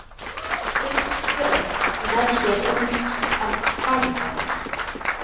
Guðmundur Björn með sér út ganga.